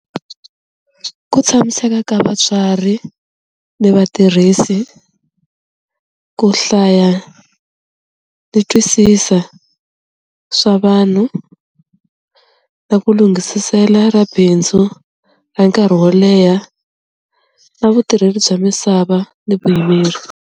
Ku tshamiseka ka vatswari ni vatirhisi ku hlaya ni twisisa swa vanhu na ku lunghisisela bindzu ra nkarhi wo leha na vutirheli bya misava ni vuyimeri.